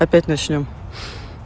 опять начнём